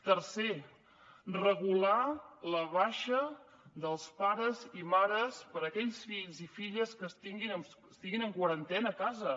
tercer regular la baixa dels pares i mares per a aquells fills i filles que estiguin en quarantena a casa